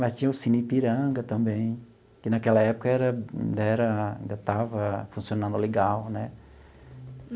Mas tinha o Cine Ipiranga também, que naquela época era era ainda estava funcionando legal né?